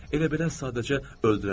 Elə belə sadəcə öldürərəm.